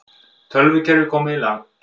Tölvukerfi komið í lag